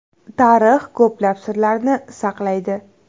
Tarix ko‘plab sirlarni saqlaydi.